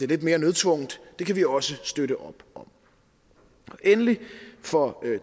lidt mere nødtvungent kan vi også støtte op om endelig for